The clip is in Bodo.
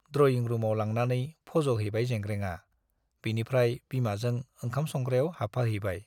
ड्रयिं रुमआव लांनानै फज हैबाय जेंग्रेंआ, बिनिफ्राय बिमाजों ओंखाम संग्रायाव हाबफाहैबाय ।